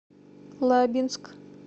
лабинск